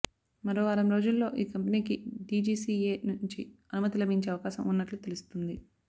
మరో వారం రోజుల్లో ఈ కంపెనీకి డీజీసీఏ నుంచి అనుమతి లభించే అవకాశం ఉన్నట్లు తెలుస్తుంది